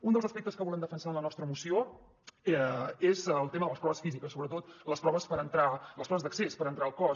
un dels aspectes que volem defensar en la nostra moció és el tema de les proves físiques sobretot en les proves d’accés per entrar al cos